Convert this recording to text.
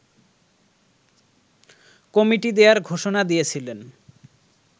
committee দেয়ার ঘোষণা দিয়েছিলেন